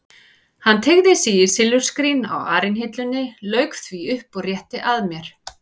Hann teygði sig í silfurskrín á arinhillunni, lauk því upp og rétti að mér.